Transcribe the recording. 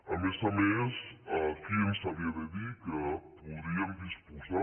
a més a més qui ens havia de dir que podríem disposar